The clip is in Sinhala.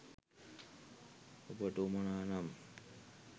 ඔබට උවමනා නම්